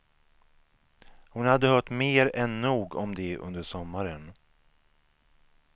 Hon hade hört mer än nog om det under sommaren.